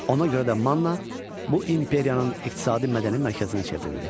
Ona görə də Manna bu imperiyanın iqtisadi-mədəni mərkəzinə çevrildi.